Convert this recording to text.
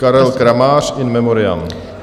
Karel Kramář, in memoriam.